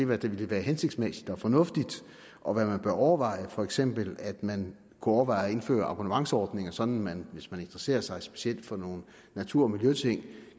hvad der ville være hensigtsmæssigt og fornuftigt og hvad man bør overveje for eksempel at man kunne overveje at indføre abonnementsordninger sådan at man hvis man interesserer sig specielt for nogle natur og miljøting